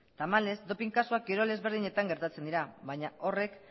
tamalez doping kasuak kirol ezberdinetan gertatzen dira baina horrek